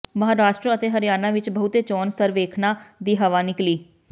ਮਹਾਰਾਸ਼ਟਰ ਅਤੇ ਹਰਿਆਣਾ ਵਿਚ ਬਹੁਤੇ ਚੋਣ ਸਰਵੇਖਣਾਂ ਦੀ ਹਵਾ ਨਿਕਲੀ